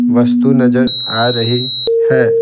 वस्तु नजर आ रही है।